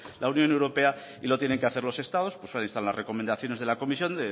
la unión europea y lo tienen que hacer los estados pues ahí están las recomendaciones de la comisión